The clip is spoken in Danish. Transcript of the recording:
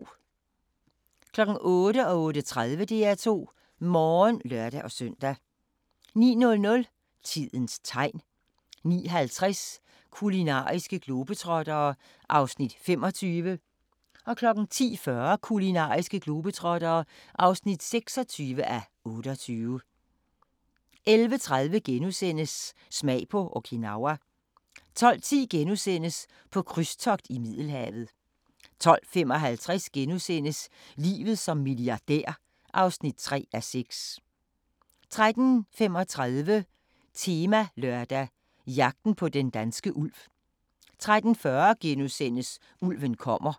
08:00: DR2 Morgen (lør-søn) 08:30: DR2 Morgen (lør-søn) 09:00: Tidens Tegn 09:50: Kulinariske globetrottere (25:28) 10:40: Kulinariske globetrottere (26:28) 11:30: Smag på Okinawa * 12:10: På krydstogt i Middelhavet * 12:55: Livet som milliardær (3:6)* 13:35: Temalørdag: Jagten på den danske ulv 13:40: Ulven kommer *